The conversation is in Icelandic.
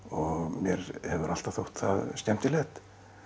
mér hefur alltaf þótt það skemmtilegt